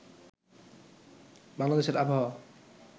বাংলাদেশের আবহাওয়া